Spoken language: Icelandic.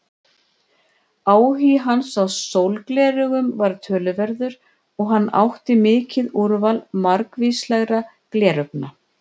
Áhugi hans á sólgleraugum var töluverður og hann átti mikið úrval margvíslegra gleraugna.